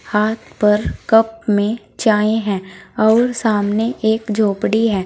हाथ पर कप में चाय है और सामने एक झोपड़ी है।